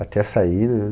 Até sair, né?